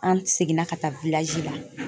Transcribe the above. An seginna ka taa la